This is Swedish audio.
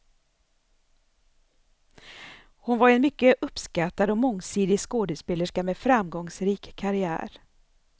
Hon var en mycket uppskattad och mångsidig skådespelerska med framgångsrik karriär.